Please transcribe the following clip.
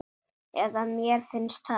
Eða mér finnst það.